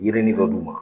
Yirini dɔ d'u ma